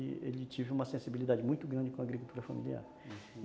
Ele teve uma sensibilidade muito grande com a agricultura familiar